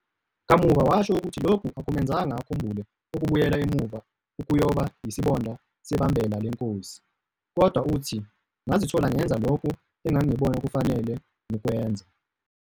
Kamuva washo ukuthi lokhu akumenzanga akhumbule ukubuyela emuva ukuyoba yisibonda sebambela lenkosi, kodwa uthi, "ngazithola ngenza lokho engangibona kufanele ngikwenza."